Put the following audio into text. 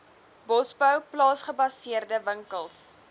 bosbou plaasgebaseerde winkels